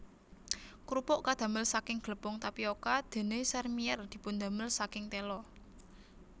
Krupuk kadamel saking glepung tapioka dene sèrmièr dipundamel saking tela